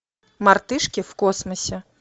мартышки в космосе